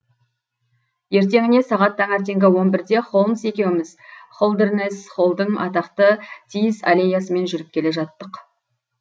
ертеңіне сағат таңертеңгі он бірде холмс екеуіміз холдернесс холлдың атақты тиіс аллеясымен жүріп келе жаттық